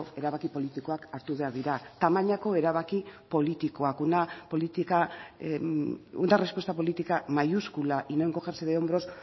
erabaki politikoak hartu behar dira tamainako erabaki politikoak una política una respuesta política mayúscula y no encogerse de hombros